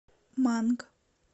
манг